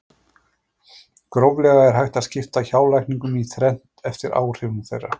Gróflega er hægt að skipta hjálækningum í þrennt eftir áhrifum þeirra.